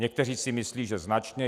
Někteří si myslí, že značně.